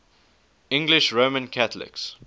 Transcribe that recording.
english roman catholics